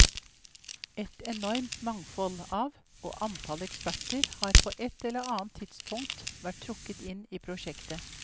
Et enormt mangfold av og antall eksperter har på et eller annet tidspunkt vært trukket inn i prosjektet.